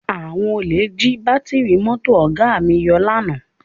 Àwọn olè jí bátíìrì mọ́tò Ọ̀ga mi yọ lánàá